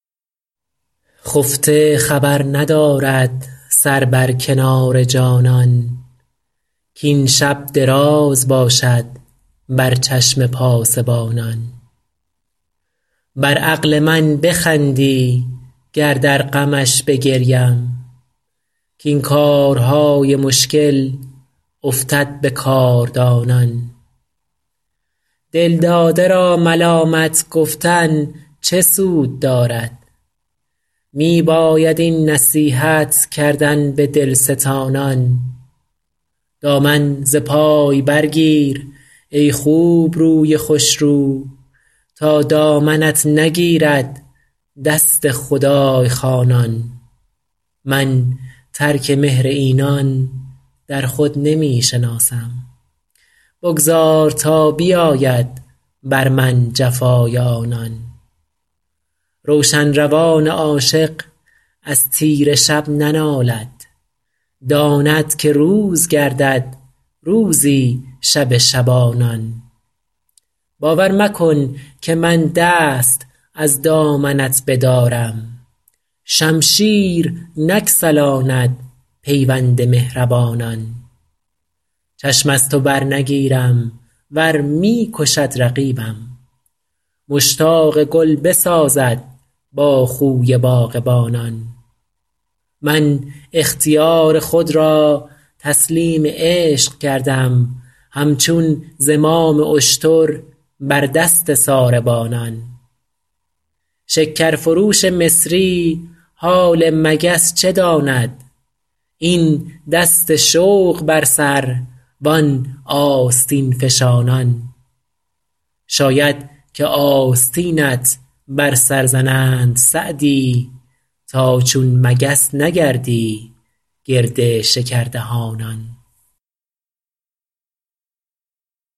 خفته خبر ندارد سر بر کنار جانان کاین شب دراز باشد بر چشم پاسبانان بر عقل من بخندی گر در غمش بگریم کاین کارهای مشکل افتد به کاردانان دلداده را ملامت گفتن چه سود دارد می باید این نصیحت کردن به دلستانان دامن ز پای برگیر ای خوبروی خوشرو تا دامنت نگیرد دست خدای خوانان من ترک مهر اینان در خود نمی شناسم بگذار تا بیاید بر من جفای آنان روشن روان عاشق از تیره شب ننالد داند که روز گردد روزی شب شبانان باور مکن که من دست از دامنت بدارم شمشیر نگسلاند پیوند مهربانان چشم از تو برنگیرم ور می کشد رقیبم مشتاق گل بسازد با خوی باغبانان من اختیار خود را تسلیم عشق کردم همچون زمام اشتر بر دست ساربانان شکرفروش مصری حال مگس چه داند این دست شوق بر سر وان آستین فشانان شاید که آستینت بر سر زنند سعدی تا چون مگس نگردی گرد شکردهانان